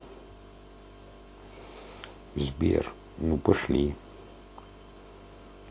сбер ну пошли